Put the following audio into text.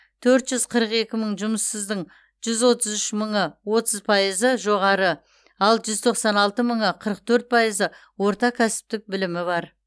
төрт жүз қырық екі мың жұмыссыздың жүз отыз үш мыңы отыз пайызы жоғары ал жүз тоқсан алты мыңы қырық төрт пайызы орта кәсіптік білімі бар